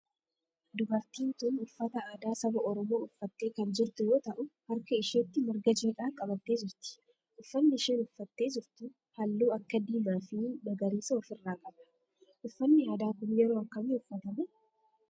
Dubartiin tun uffata aadaa saba oromoo uffattee kan jirtu yoo ta'u harka isheetti marga jiidhaa qabattee jirti. Uffanni isheen uffatte jirtu halluu akka diimaa fi magariisa of irraa qaba. Uffannii aadaa kun yeroo akkamii uffatama?